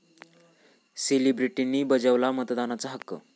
सेलिब्रिटींनी बजावला मतदानाचा हक्क